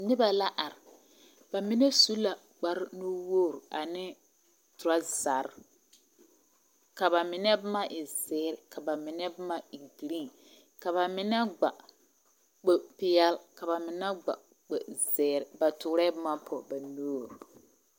Noba la are. Ba mine su la kpare nuwogori ane torasare. Ka ba mine boma e zeere ka ba mine boma e giriiŋ. Ka ba mine gba kpo peɛle ka ba mien gba kpo zeere. Ba toorɛɛ boma pɔge ba nuuri.